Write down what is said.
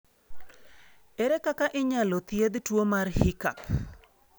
Ere kaka inyalo thiedh tuwo mar hiccup?